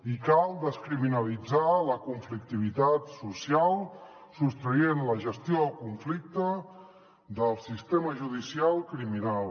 i cal descriminalitzar la conflictivitat social sostraient la gestió del conflicte del sistema judicial criminal